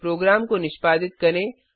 programme को निष्पादित करें